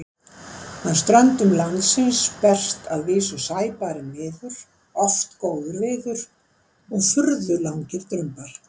Að ströndum landsins berst að vísu sæbarinn viður, oft góður viður og furðu langir drumbar.